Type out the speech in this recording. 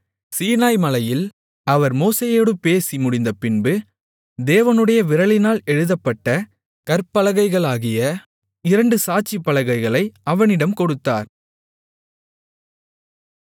சீனாய்மலையில் அவர் மோசேயோடு பேசி முடிந்தபின்பு தேவனுடைய விரலினால் எழுதப்பட்ட கற்பலகைகளாகிய இரண்டு சாட்சி பலகைகளை அவனிடம் கொடுத்தார்